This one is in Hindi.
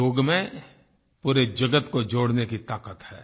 योग में पूरे जगत को जोड़ने की ताक़त है